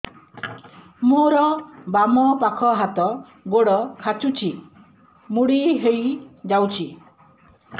ମୋର ବାମ ପାଖ ହାତ ଗୋଡ ଖାଁଚୁଛି ମୁଡି ହେଇ ଯାଉଛି